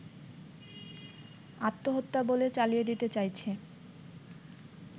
আত্মহত্যা বলে চালিয়ে দিতে চাইছে